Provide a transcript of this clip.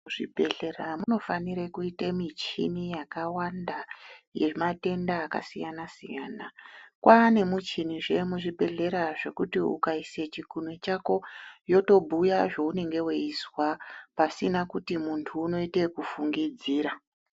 Muzvibhedhlera munofane kuite michini yakawanda yematenda akasiyana-siyana. Kwaane muchinizve muzvibhedhlera zvekuti ukaise chikunwe chako yotobhuya zveunenge weizwa pasina kuti muntu unoite ekufungidzira.